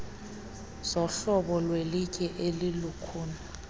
zohlobo lwelitye elilukhuni